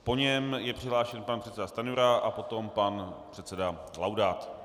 Po něm je přihlášen pan předseda Stanjura a potom pan předseda Laudát.